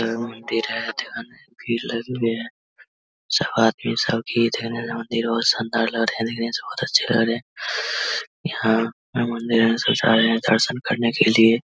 जहा भीड़ लगी हुई है सब आदमी सब मंदिर बोहोत शानदार लग रहें है देखने से बोहोत अच्छे लग रहे हैं। यहाँ मंदिर है। सब जा रहे हैं दर्शन करने के लिए।